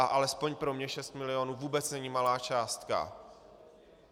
A alespoň pro mě šest milionů vůbec není malá částka.